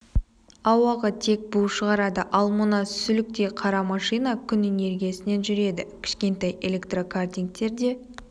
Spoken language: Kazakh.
ауаға тек бу шығарады ал мына сүліктей қара машина күн энергиясымен жүреді кішкентай электрокартингтер де